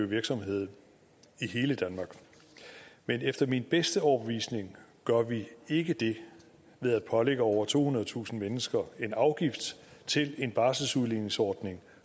virksomhed i hele danmark men efter min bedste overbevisning gør vi ikke det ved at pålægge over tohundredetusind mennesker en afgift til en barselsudligningsordning